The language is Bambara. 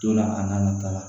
Don la a n'a ta la